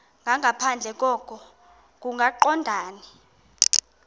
nangaphandle koko kungaqondani